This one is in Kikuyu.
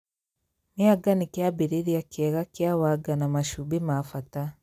Mĩanga nĩ kĩambĩrĩria kĩega kĩa wanga na macumbĩ ma bata